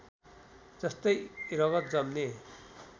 जस्तै रगत जम्ने